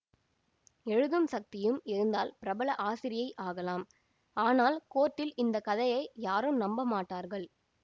எழுதும் சக்தியும் இருந்தால் பிரபல ஆசிரியை ஆகலாம் ஆனால் கோர்ட்டில் இந்த கதையை யாரும் நம்ப மாட்டார்கள்